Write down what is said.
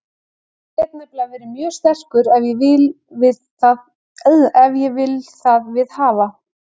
Ég get nefnilega verið mjög sterkur ef ég vil það viðhafa.